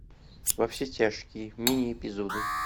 во все тяжкие мини эпизоды